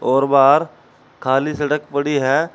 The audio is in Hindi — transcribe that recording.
और बाहर खाली सड़क पड़ी है।